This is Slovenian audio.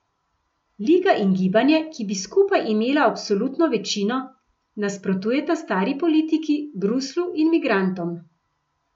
Liga in Gibanje, ki bi skupaj imela absolutno večino, nasprotujeta stari politiki, Bruslju in migrantom.